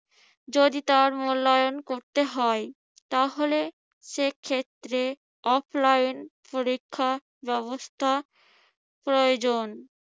যদি তার মূল্যায়ন করতে হয় তাহলে সেখত্রে offline পরীক্ষা ব্যবস্থা প্রয়োজন।